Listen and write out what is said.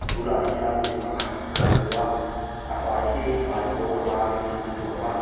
tunah hian mi pakhat kan hmu a a hmai hi hmaikawr varin a tuam a.